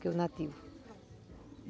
que é o nativo.